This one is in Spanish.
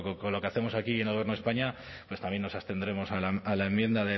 con lo que hacemos aquí y en el gobierno de españa pues también nos abstendremos a la enmienda